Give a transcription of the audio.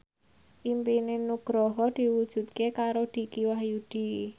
impine Nugroho diwujudke karo Dicky Wahyudi